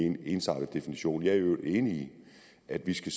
en ensartet definition jeg er i øvrigt enig i at vi skal